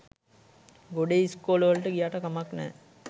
ගොඩේ ඉස්කෝලවලට ගියාට කමක් නෑ